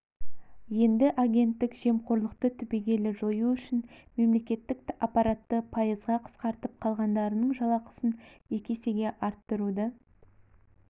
енді агенттік жемқорлықты түбегейлі жою үшін мемлекеттік аппаратты пайызға қысқартып қалғандарының жалақысын екі есеге арттыруды